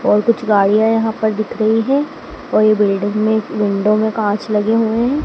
और कुछ गाड़ियां यहां पर दिख रही है और ये बिल्डिंग में विंडो में कांच लगे हुए हैं।